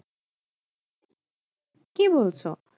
কি বলছো?